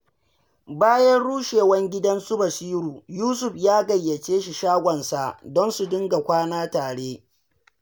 Bayan rushewar gidan su Basiru, Yusuf ya gayyace shi shagonsa, don su dinga kwana tare.